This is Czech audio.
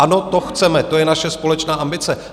Ano, to chceme, to je naše společná ambice.